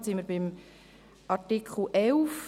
Nun sind wir bei Artikel 11.